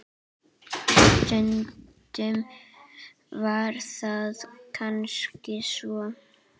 Stundum var það kannski svo.